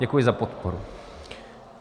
Děkuji za podporu.